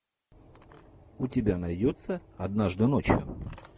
у тебя найдется однажды ночью